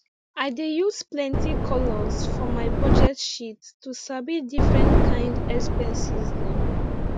i dey use plenty colours for my budget sheet to sabi different kind expenses dem